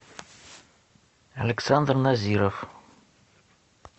александр назиров